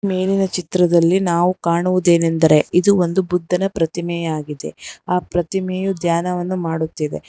ಮೇಲಿನ ಚಿತ್ರದಲ್ಲಿ ನಾವು ಕಾಣುವುದೇನೆಂದರೆ ಇದು ಒಂದು ಬುದ್ಧನ ಪ್ರತಿಮೆ ಆಗಿದೆ ಆ ಪ್ರತಿಮೆಯು ದ್ಯಾನವನ್ನು ಮಾಡುತ್ತಿದೆ.